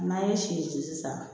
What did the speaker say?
N'an ye si ci sisan